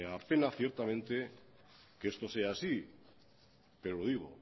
me apena ciertamente que esto sea así pero lo digo